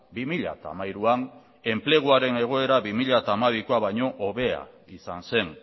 bi mila hamairuan enpleguaren egoera bi mila hamabikoa baino hobea izan zen